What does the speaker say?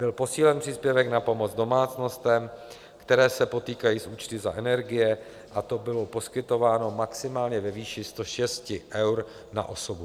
Byl posílen příspěvek na pomoc domácnostem, které se potýkají s účty za energie, a to bylo poskytováno maximálně ve výši 106 eur na osobu.